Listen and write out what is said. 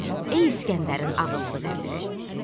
Ey İsgəndərin ağıllı vəziri!